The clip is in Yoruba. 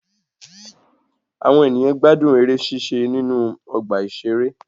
Àwọn ènìyàn gbádùn eré ṣíṣe nínú ọgbà ìṣeré